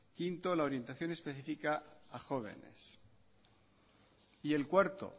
quinto la orientación específica a jóvenes y el cuarto